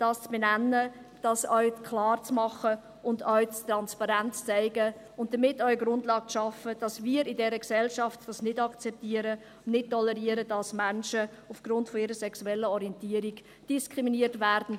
es geht darum, das auch klar zu machen, transparent aufzuzeigen und damit auch eine Grundlage dafür zu schaffen, dass wir in dieser Gesellschaft nicht akzeptieren, nicht tolerieren, dass Menschen aufgrund ihrer sexuellen Orientierung diskriminiert werden.